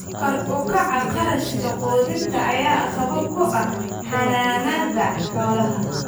Kor u kaca kharashka quudinta ayaa caqabad ku ah xanaanada xoolaha.